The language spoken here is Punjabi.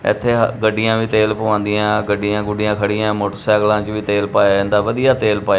ਇਥੇ ਗੱਡੀਆਂ ਵੀ ਤੇਲ ਪਵਾਉਂਦੀਆਂ ਗੱਡੀਆਂ ਗੁੱਡੀਆਂ ਖੜੀਆਂ ਮੋਟਰਸਾਈਕਲਾਂ ਚ ਵੀ ਤੇਲ ਪਾਇਆ ਜਾਂਦਾ ਵਧੀਆ ਤੇਲ ਪਾਇਆ--